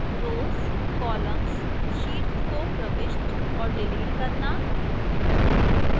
rows columns sheets को प्रविष्ट और डिलीट करना